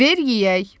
Ver yeyək!